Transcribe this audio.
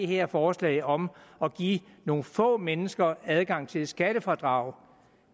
her forslag om at give nogle få mennesker adgang til skattefradrag